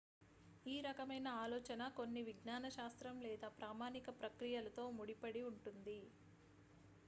ఈ రకమైన ఆలోచన కొన్ని విజ్ఞాన శాస్త్రం లేదా ప్రామాణిక ప్రక్రియలతో ముడిపడి ఉంటుంది